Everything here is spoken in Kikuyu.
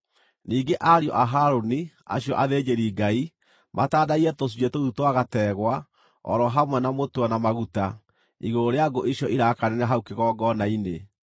Ningĩ ariũ a Harũni, acio athĩnjĩri-Ngai, matandaiye tũcunjĩ tũu twa gategwa, o ro hamwe na mũtwe na maguta, igũrũ rĩa ngũ icio irakanĩra hau kĩgongona-inĩ.